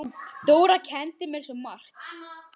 Dóra kenndi mér svo margt.